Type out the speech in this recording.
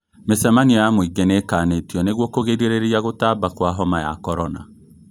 Mĩcemanio ya mũingĩ nĩĩkanĩtio nĩguo kũgirĩrĩria gũtamba kwa homa ya korona